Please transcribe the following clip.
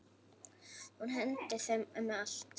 Hún hendir þeim um allt.